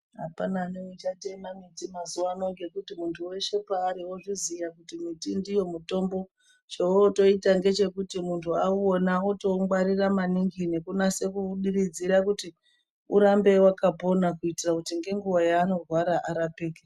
Apana neuchatema muti mazuwa ano ngekuti muntu weshe paari wozviziya kuti muti ndiyo mutombo chootoita ngechekuti muntu auwona otoungwarira maningi nekunase kuudiridzira kuti urambe wakapona kuitira kuti ngenguwa yaanorwara arapike.